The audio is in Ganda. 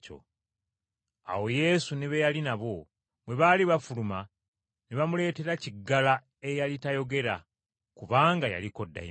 Awo Yesu ne be yali nabo, bwe baali bafuluma ne bamuleetera kiggala eyali tayogera kubanga yaliko dayimooni.